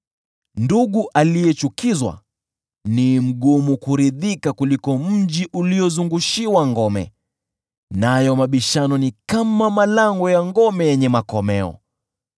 Ndugu aliyechukizwa ni mgumu kuridhika kuliko mji uliozungushiwa ngome, nayo mabishano ni kama malango ya ngome yenye makomeo.